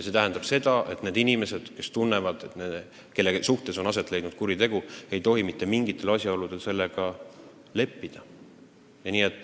See tähendab seda, et need inimesed, kelle vastu on toime pandud kuri tegu, ei tohi mitte mingitel asjaoludel sellega leppida.